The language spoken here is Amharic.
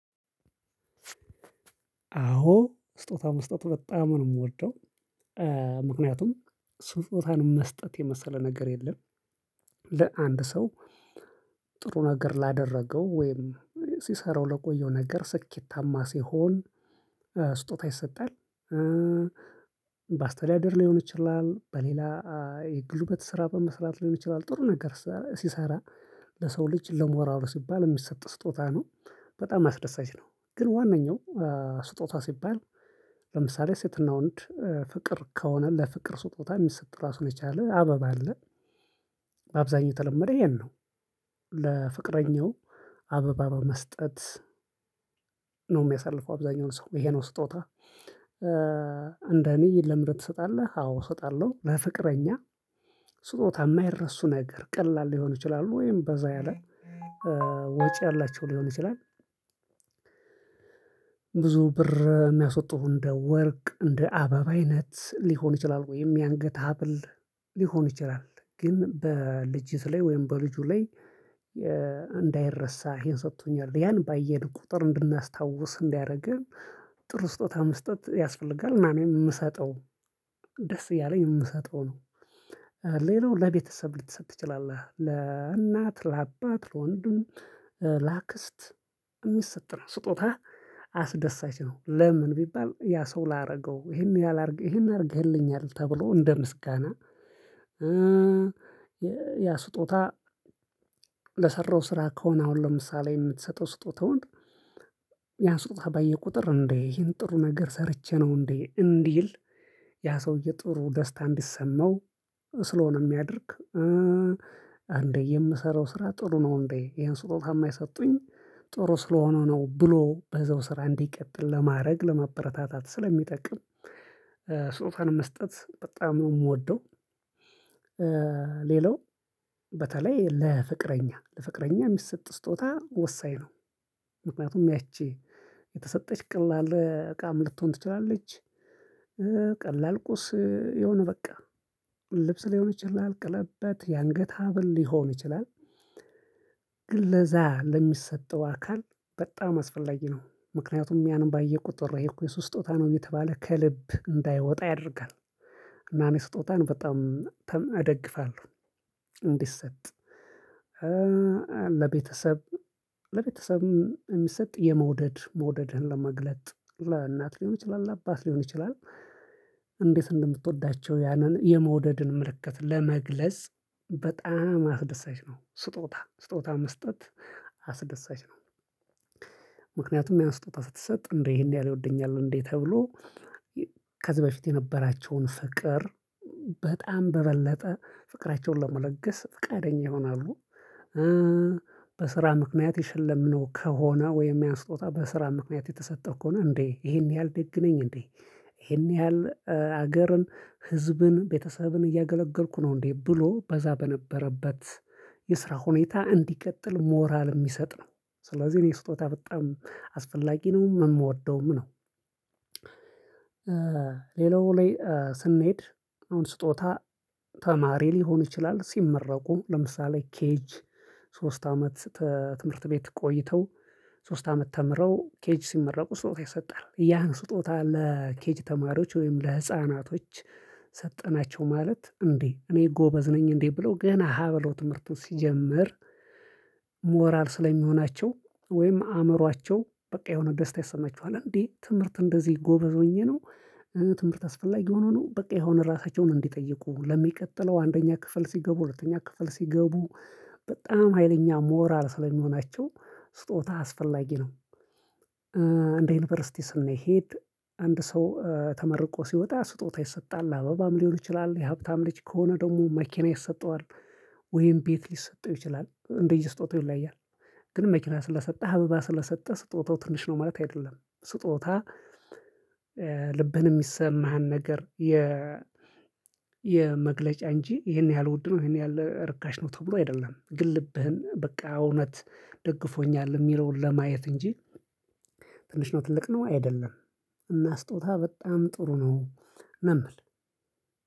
አዎ ስጦታ መስጠት በጣም ነው የምወደው። ምክንያቱም ስጦታን መስጠት የመሰለ ነገር የለም። ለአንድ ሰው ጥሩ ነገር ላደረገው ወይም ሲሰራው ለቆየው ነገር ስኬታማ ሲሆን ስጦታ ይሰጣል። በአስተዳደር ሊሆን ይችላል በሌላ የጉልበት ስራ በመስራት ሊሆን ይችላል ጥሩ ነገር ሲሰራ ለሰው ልጅ ለሞራሉ ሲባል የሚሰጥ ስጦታ ነው። በጣም አስደሳች ነው። ግን ዋናኛው ስጦታ ሲባል ለምሳሌ ሴትና ወንድ ፍቅር ከሆነ ለፍቅር ስጦታ የሚሰጥ ራሱን የቻለ አበባ አለ። አብዛኛው ተለመደ ይሄን ነው። ለፍቅረኛው አበባ በመስጠት ነው የሚያሳልፈው አብዛኛውን ሰው ይሄ ነው ስጦታ። እንደኔ ለምር ትሰጣለህ አዎ እሰጣለሁ። ለፍቅረኛ ስጦታ የማይረሱ ነገር ቀላል ሊሆን ይችላል ወይም በዛ ያለ ወጪ ያላቸው ሊሆን ይችላል። ብር የሚያስወጡህ እንደ ወርቅ እንደ አበባ አይነት ሊሆን ይችላል ወይም የአንገት ሀብል ሊሆን ይችላል። ግን በልጅት ላይ ወይም በልጁ ላይ እንዳይረሳ ይሄን ሰጥቶኛል ያን ባየን ቁጥር እንድናስታውስ እንዳያረግም። ጥሩ ስጦታ መስጠት ያስፈልጋል እና እኔም የምሰጠው ደስ እያለኝ የምሰጠው ነው። ሌላው ለቤተሰብ ልትሰጥ ትችላለህ ለእናት ለአባት ለወንድም ለአክስት የሚሰጥ ነው ስጦታ አስደሳች ነው። ለምን ቢባል ያ ሰው ላደርገው ይሄን ያህል ይሄን አድርገህልኛል ተብሎ እንደ ምስጋና። ያ ስጦታ ለሰራው ስራ ከሆነ አሁን ለምሳሌ የምትሰጠው ስጦታውን ያ ስጦታ ባየ ቁጥር እንዴ ይሄን ጥሩ ነገር ሰርቼ ነው እንዴ እንዲል። ያ ሰውዬ ጥሩ ደስታ እንዲሰማው ስለሆነ የሚያደርግ። አንዴ የምሰራው ስራ ጥሩ ነው እንዴ ይሄን ስጦታ እማ የሰጡኝ ጥሩ ስለሆነው ነው ብሎ በዛው ስራ እንዲቀጥል ለማድረግ ለማበረታታት ስለሚጠቅም ሱጦታን መስጠት በጣም ነው የምወደው። ሌላው በተለይ ለፍቅረኛ ለፍቅረኛ የሚሰጥ ስጦታ ወሳኝ ነው። ምክንያቱም ያቺ የተሰጠች ቀላል እቃም ልትሆን ትችላለች። ቀላል ቁስ የሆነ በቃ ልብስ ሊሆን ይችላል ቀለበት የአንገት ሀብል ሊሆን ይችላል። ግን ለዛ ለሚሰጠው አካል በጣም አስፈላጊ ነው ምክንያቱም ያንን ባየ ቁጥር ይሄ እኮ የእሱ ስጦታ ነው እየተባለ ከልብ እንዳይወጣ ያደርጋል። እና እኔ ስጦታን በጣም እደግፋለሁ። እንዲሰጥ ለቤተሰብ ለቤተሰብ የሚሰጥ የመውደድ መውደድህን ለመግለጥ ለእናት ሊሆን ይችላል ለአባት ሊሆን ይችላል። እንዴት እንደምትወዳቸው ያንን የመውደድን ምልክት ለመግለጽ በጣም አስደሳች ነው ስጦታ ስጦታ መስጠት አስደሳች ነው። ምክንያቱም ያ ስጦታ ስትሰጥ እንዴ ይሄን ያህል ይወደኛል እንዴ ተብሎ ከዚህ በፊት የነበራቸውን ፍቅር በጣም በበለጠ ፍቅራቸውን ለመለገስ ፍቃደኛ ይሆናሉ። በስራ ምክንያት የሸለምነው ከሆነ ወይም ያስጦታ በስራ ምክንያት የተሰጠው ከሆነ እንዴ ይሄን ያህል ደግ ነኝ እንዴ? ይሄን ያህል ሀገርን ህዝብን ቤተሰብን እያገለገልኩ ነው እንዴ ብሎ በዛ በነበረበት የስራ ሁኔታ እንዲቀጥል ሞራል የሚሰጥ ነው። ስለዚህ እኔ ስጦታ በጣም አስፈላጊ ነው የምወደውም ነው። ሌላው ላይ ስንሄድ አሁን ስጦታ ተማሪ ሊሆን ይችላል ሲመረቁ ለምሳሌ ኬጅ ሶስት አመት ትምህርት ቤት ቆይተው ሶስት አመት ተምረው ኬጅ ሲመረቁ ስጦታ ይሰጣል። ያን ስጦታ ለኬጅ ተማሪዎች ወይም ለህፃናቶች ሰጠናቸው ማለት እንዴ እኔ ጎበዝ ነኝ እንዴ ብለው ገና ሀ በለው ትምህርቱን ሲጀምር። ሞራል ስለሚሆናቸው ወይም አእምሯቸው በቃ የሆነ ደስታ ይሰማችኋል እንዴ ትምህርት እንደዚህ ጎበዝ ሆኜ ነው። ትምህርት አስፈላጊ ሆኖ ነው በቃ የሆነ ራሳቸውን እንዲጠይቁ ለሚቀጥለው አንደኛ ክፍል ሲገቡ ሁለተኛ ክፍል ሲገቡ በጣም ሀይለኛ ሞራል ስለሚሆናቸው ስጦታ አስፈላጊ ነው። እንደ ዩኒቨርሲቲ ስንሄድ አንድ ሰው ተመርቆ ሲወጣ ስጦታ ይሰጣል አበባም ሊሆን ይችላል የሀብታም ልጅ ከሆነ ደግሞ መኪና ይሰጠዋል። ወይም ቤት ሊሰጠው ይችላል እንደየ ስጦታው ይለያያል። ግን መኪና ስለሰጠህ አበባ ስለሰጠህ ስጦታው ትንሽ ነው ማለት አይደለም። ስጦታ ልብህን የሚሰማህን ነገር የ የመግለጫ እንጂ ይሄን ያህል ውድ ነው ይሄን ያህል ርካሽ ነው ተብሎ አይደለም ግን ልብህን በቃ እውነት ደግፎኛል የሚለውን ለማየት እንጂ። ትንሽ ነው ትልቅ ነው አይደለም እና ስጦታ በጣም ጥሩ ነው። እምል